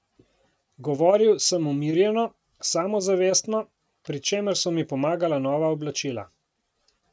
Govoril sem umirjeno samozavestno, pri čemer so mi pomagala nova oblačila.